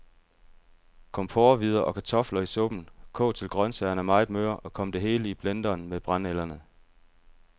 Kom porrehvider og kartofler i suppen, kog til grøntsagerne er meget møre, og kom det hele i blenderen med brændenælderne.